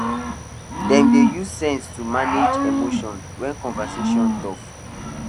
dem dey use sense to manage emotions when conversation tough